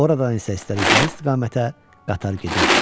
Oradan isə istədikləri istiqamətə qatar gedirdi.